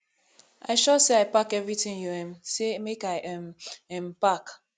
i sure say i pack everything you um say make i um um pack